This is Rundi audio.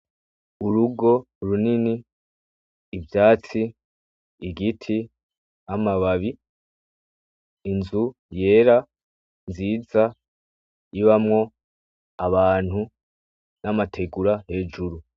Urugo runini ivyatsi, igiti, amababi, inzu yera nziza ibamwo abantu n'amategura hejuru.